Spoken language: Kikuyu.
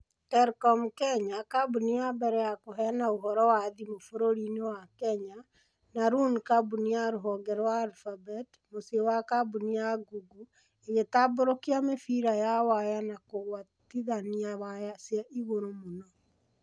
Telkom Kenya, kambuni ya mbere ya kũheana ũhoro wa thimu bũrũri-inĩ wa Kenya, na Loon, kambuni ya rũhonge rwa Alphabet (mũciĩ wa kambuni ya Google) ĩgĩtambũrũkia mĩbira ya waya ya kũgwatithania waya cia igũrũ mũno.